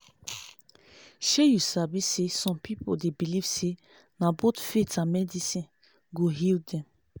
shey u sabi saysome people dey believe say na both faith and medicine go heal dem